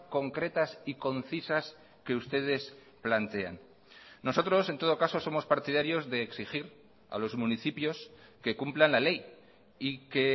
concretas y concisas que ustedes plantean nosotros en todo caso somos partidarios de exigir a los municipios que cumplan la ley y que